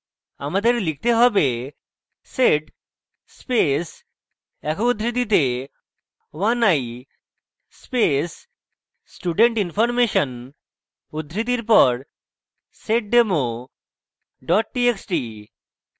আমাদের লিখতে হবে: sed space একক উদ্ধৃতিতে 1i space student information উদ্ধৃতির পর seddemo txt txt